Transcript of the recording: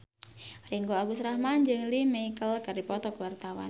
Ringgo Agus Rahman jeung Lea Michele keur dipoto ku wartawan